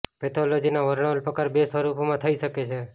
પેથોલોજીના વર્ણવેલ પ્રકાર બે સ્વરૂપોમાં થઇ શકે છે